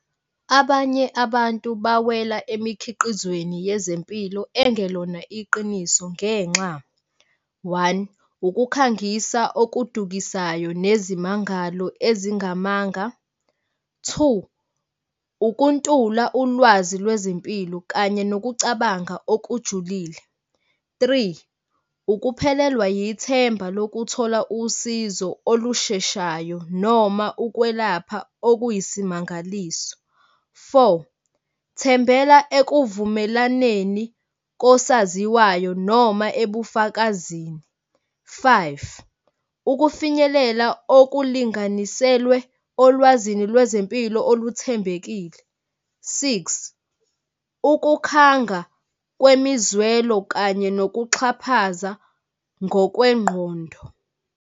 Abanye abantu bawela emikhiqizweni yezempilo engelona iqiniso ngenxa, one, ukukhangisa okudukisayo nezimangalo ezingamanga. Two, ukuntula ulwazi lwezimpilo kanye nokucabanga okujulile. Three, ukuphelelwa yithemba lokuthola usizo olusheshayo noma ukwelapha okuyisimangaliso. Four, thembela ekuvumelaneni kosaziwayo noma ebufakazini. Five, ukufinyelela okulinganiselwe olwazini lwezempilo oluthembekile. Six, ukukhanga kwemizwelo kanye nokuxhaphaza ngokwengqondo.